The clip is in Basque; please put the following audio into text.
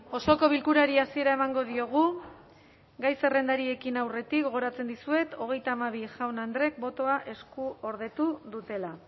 osoko bilkurari hasiera emango diogu gai zerrendari ekin aurretik gogoratzen dizuet hogeita hamabi jaun andrek botoa eskuordetu dutela